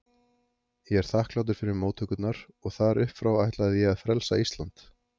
Ég er þakklátur fyrir móttökurnar og þar uppfrá ætlaði ég að frelsa Ísland.